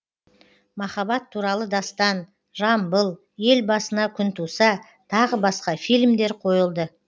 махаббат туралы дастан жамбыл ел басына күн туса тағы басқа фильмдер қойылды